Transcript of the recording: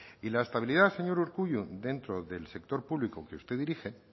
y la estabilidad señor urkullu dentro del sector público que usted dirige